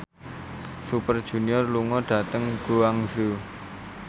Super Junior lunga dhateng Guangzhou